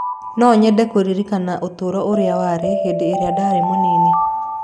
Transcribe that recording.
No nyende kũririkana ũtũũro ũrĩa warĩ hĩndĩ ĩrĩa ndarĩ mũnini.